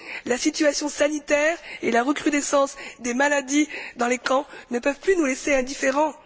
La situation sanitaire et la recrudescence des maladies dans les camps ne peuvent plus nous laisser indifférents.